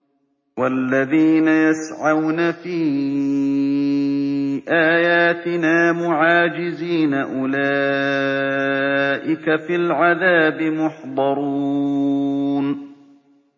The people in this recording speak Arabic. وَالَّذِينَ يَسْعَوْنَ فِي آيَاتِنَا مُعَاجِزِينَ أُولَٰئِكَ فِي الْعَذَابِ مُحْضَرُونَ